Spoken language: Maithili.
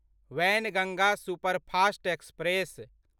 Wainganga superfast express